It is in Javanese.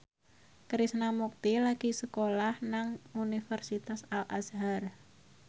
Krishna Mukti lagi sekolah nang Universitas Al Azhar